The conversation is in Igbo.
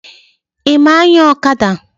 Ị ma anya ọkada?